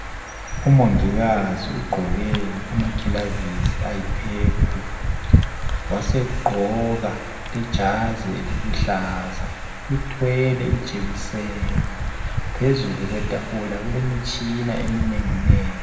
Umongikazi ugqoke amagilavisi ayi purple wasegqoka ijazi eliluhlaza. Uthwele ijekiseni. Phezulu kwetafula kulemitshina eminenginengi.